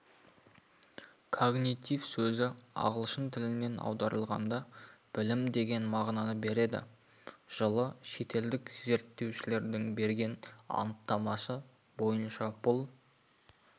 когнитив сөзі ағылшын тілінен аударылғанда білім деген мағынаны береді жылы шетелдік зерттеушілердің берген анықтамасы бойынша бұл